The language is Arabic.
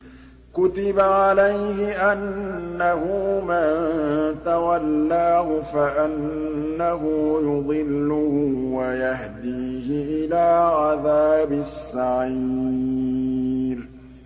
كُتِبَ عَلَيْهِ أَنَّهُ مَن تَوَلَّاهُ فَأَنَّهُ يُضِلُّهُ وَيَهْدِيهِ إِلَىٰ عَذَابِ السَّعِيرِ